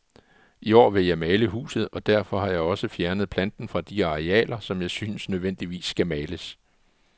I år vil jeg male huset, og derfor har jeg også fjernet planten fra de arealer, som jeg synes nødvendigvis skal males.